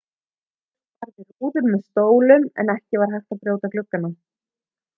fólk barði rúður með stólum en ekki var hægt að brjóta gluggana